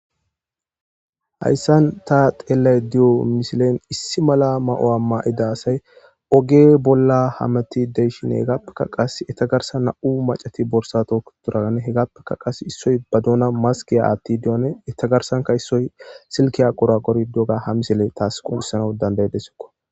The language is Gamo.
Hayssan ta teelay diyo misilen issi mala ma'o'a ma'eda asay oge bolla hameti deyshin eegappeka qas etagarsa na'u macati borsato duran hegappeka qas issoy ba duuna maskiya atti diyone etagarsanka issoy silkiya qora qori doga ha misele taas qunissanau dandayedesokko.